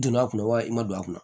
Don a kun wa i ma don a kunna